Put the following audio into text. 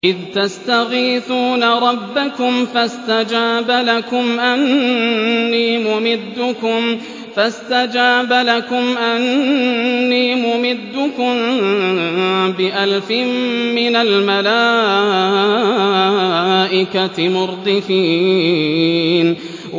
إِذْ تَسْتَغِيثُونَ رَبَّكُمْ فَاسْتَجَابَ لَكُمْ أَنِّي مُمِدُّكُم بِأَلْفٍ مِّنَ الْمَلَائِكَةِ مُرْدِفِينَ